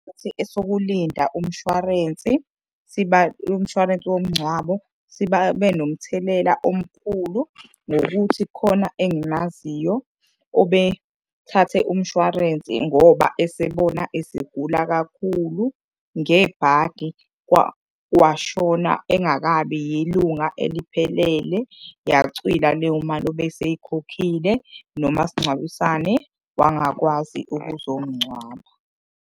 Isikhathi esokulinda umshwarensi sibe umshwarensi womngcwabo sibe nomthelela omkhulu ngokuthi kukhona engimaziyo obethathe umshwarensi ngoba esebona esegula kakhulu. Ngebhadi washona engakabi yilunga eliphelele, yacwila leyo mali obeseyikhokhile, nomasingcwabisane wangakwazi ukuzomungcwaba.